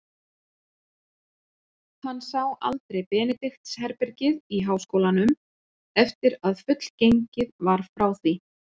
Hann sá aldrei Benedikts-herbergið í háskólanum, eftir að fullgengið var frá því.